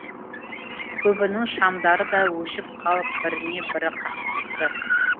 көбінің шамдары да өшіп қалып біріне бірі қақтықты